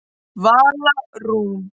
Vala Rún.